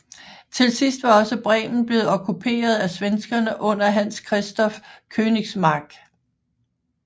Til sidst var også Bremen blevet okkuperet af svenskerne under Hans Christoff Königsmarck